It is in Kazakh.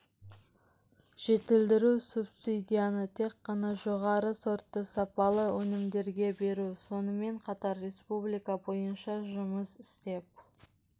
жетілдіру субсидияны тек қана жоғары сортты сапалы өнімдерге беру сонымен қатар республика бойынша жұмыс істеп